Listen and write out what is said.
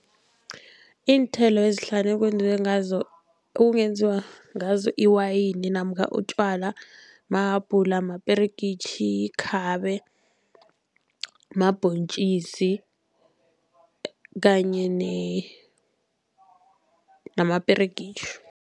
Iinthelo ezihlanu ekwenziwe ngazo, ekungenziwa ngazo iwayini namkha utjwala mahabhula, maperegitjhi, ikhabe, mabhontjisi kanye namaperegitjhi.